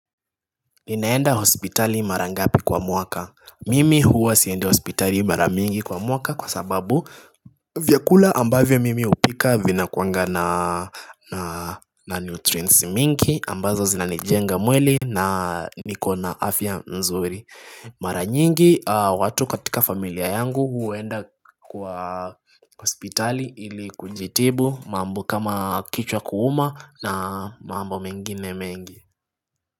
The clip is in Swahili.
Ninaenda hospitali mara ngapi kwa mwaka Mimi huwa siendi hospitali mara mingi kwa mwaka kwa sababu vyakula ambavyo mimi hupika vinakuanga na nutrients mingi ambazo zinanijenga mwili na nikona afya mzuri Mara nyingi watu katika familia yangu huenda kwa hospitali ili kujitibu mambo kama kichwa kuuma na mambo mengine mengi.